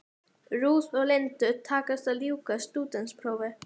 Ruth og Lindu takast að ljúka stúdentsprófi.